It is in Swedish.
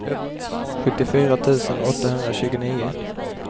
sjuttiofyra tusen åttahundratjugonio